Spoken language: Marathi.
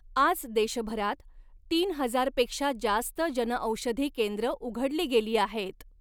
आज देशभरात, तीन हजारपेक्षा जास्त जनऔषधी केंद्र उघडली गेली आहेत.